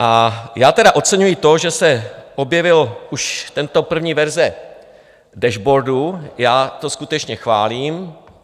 A já tedy oceňuji to, že se objevila už tato první verze dashboardu, já to skutečně chválím.